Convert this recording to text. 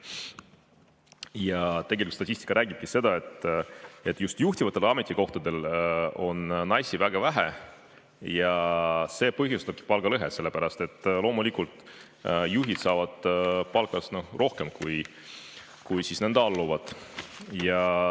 Ja tegelikult statistika räägibki seda, et just juhtivatel ametikohtadel on naisi väga vähe ja see põhjustabki palgalõhet, sellepärast et loomulikult juhid saavad palka rohkem kui nende alluvad.